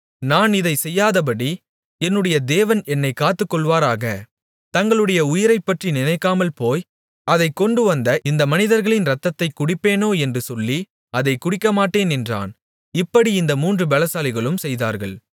நான் இதைச் செய்யாதபடி என்னுடைய தேவன் என்னைக் காத்துக்கொள்வாராக தங்களுடைய உயிரைப்பற்றி நினைக்காமல் போய் அதைக் கொண்டுவந்த இந்த மனிதர்களின் ரத்தத்தைக் குடிப்பேனோ என்று சொல்லி அதைக் குடிக்கமாட்டேன் என்றான் இப்படி இந்த மூன்று பெலசாலிகளும் செய்தார்கள்